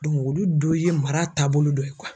olu dɔ ye mara taabolo dɔ ye